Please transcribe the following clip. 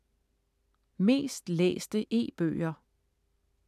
Mest læste e-bøger